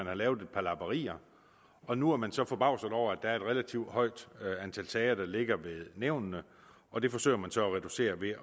har lavet et par lapperier og nu er man så forbavset over at der er et relativt højt antal sager der ligger ved nævnene og det forsøger man så at reducere ved